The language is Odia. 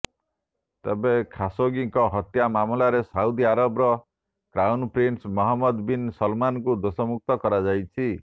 ତେବେ ଖାସୋଗିଙ୍କ ହତ୍ୟା ମାମଲାରେ ସାଉଦି ଆରବର କ୍ରାଉନ ପ୍ରିନ୍ସ ମହମ୍ମଦ ବିନ୍ ସଲମାନଙ୍କୁ ଦୋଷମୁକ୍ତ କରାଯାଇଛି